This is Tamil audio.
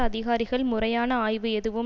அதிகாரிகள் முறையான ஆய்வு எதுவும்